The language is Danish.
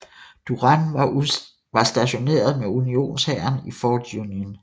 Duran var stationeret med Unionshæren i Fort Union